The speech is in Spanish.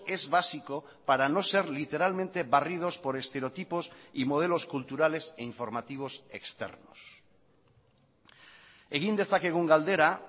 es básico para no ser literalmente barridos por estereotipos y modelos culturales e informativos externos egin dezakegun galdera